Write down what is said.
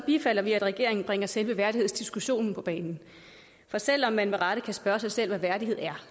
bifalder at regeringen bringer selve værdighedsdiskussionen på banen for selv om man med rette kan spørge sig selv hvad værdighed er